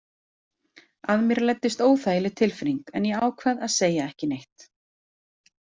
Að mér læddist óþægileg tilfinning en ég ákvað að segja ekki neitt.